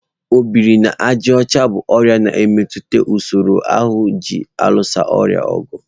Ọ biri na àjà ọcha bụ ọrịa na-emetụta usoro ahụ ji alụso ọrịa ọgụ.